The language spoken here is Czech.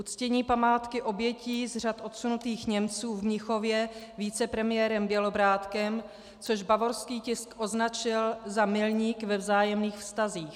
Uctění památky obětí z řad odsunutých Němců v Mnichově vicepremiérem Bělobrádkem, což bavorský tisk označil za milník ve vzájemných vztazích.